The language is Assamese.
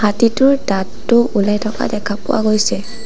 হাতীটোৰ দাঁতটো ওলাই থকা দেখা পোৱা গৈছে।